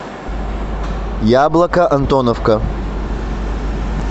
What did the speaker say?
яблоко антоновка